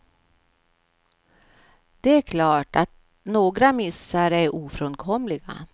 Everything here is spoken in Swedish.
Det är klart att några missar är ofrånkomliga.